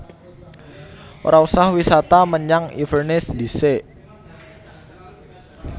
Ora usah wisata menyang Inverness ndhisik